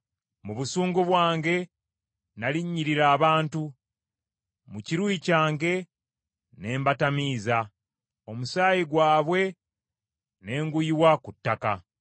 Mu busungu bwange nalinnyirira abantu, mu kiruyi kyange ne mbatamiiza, omusaayi gwabwe ne nguyiwa ku ttaka.”